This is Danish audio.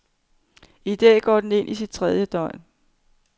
I dag går den ind i sit tredje døgn.